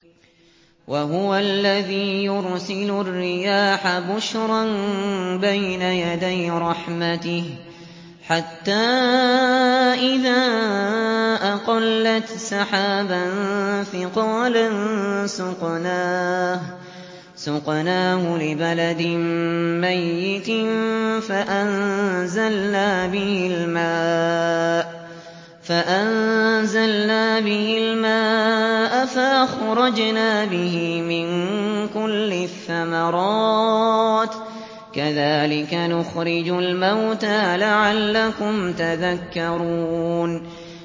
وَهُوَ الَّذِي يُرْسِلُ الرِّيَاحَ بُشْرًا بَيْنَ يَدَيْ رَحْمَتِهِ ۖ حَتَّىٰ إِذَا أَقَلَّتْ سَحَابًا ثِقَالًا سُقْنَاهُ لِبَلَدٍ مَّيِّتٍ فَأَنزَلْنَا بِهِ الْمَاءَ فَأَخْرَجْنَا بِهِ مِن كُلِّ الثَّمَرَاتِ ۚ كَذَٰلِكَ نُخْرِجُ الْمَوْتَىٰ لَعَلَّكُمْ تَذَكَّرُونَ